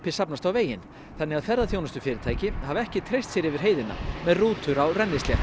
safnast á veginn þannig að ferðaþjónustufyrirtæki hafa ekki treyst sér yfir heiðina með rútur á